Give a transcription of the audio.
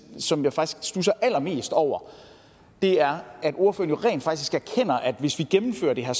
som jeg faktisk studser allermest over er at ordføreren jo rent faktisk erkender at hvis vi gennemfører det her